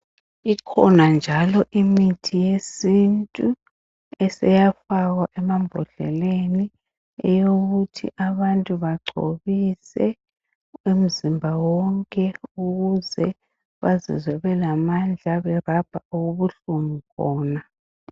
Ikhona njalo imithi yesintu eseyafakwa emambodleleni eyokuthi abantu bagcobise umzimba wonke ukuze bazizwe belamandla berabha okubuhlungu khona.